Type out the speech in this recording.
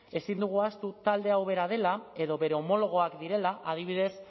ezin dugu ahaztu talde hau bera dela edo bere homologoak direla adibidez